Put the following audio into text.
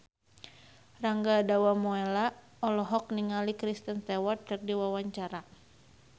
Rangga Dewamoela olohok ningali Kristen Stewart keur diwawancara